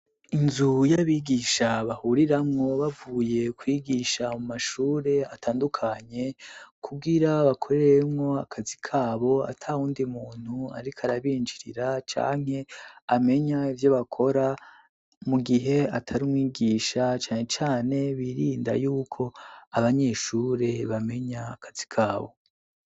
Inzu y'abigisha bahuriramwo bavuye kwigisha mu mashure atandukanye kubwira bakoreremo akazi kabo atawundi muntu ariko arabinjirira cyanke amenya ibyo bakora mu gihe atari mwigisha cyane cyane birinda y'uko abanyeshure bamenya akazi kabo.